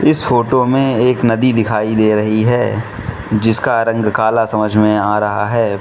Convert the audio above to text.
इस फोटो में एक नदी दिखाई दे रही है जिसका रंग काला समझ में आ रहा है।